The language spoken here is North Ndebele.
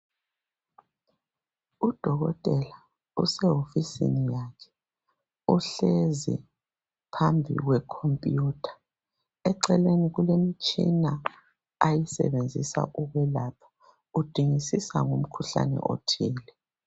Udokotela osehovisini yakhe uhlezi phambi kwekhompuyutha eceleni kulemtshina ayisebenzisa ukulapha udingisisa ngomkhuhlani othile.